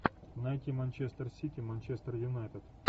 найти манчестер сити манчестер юнайтед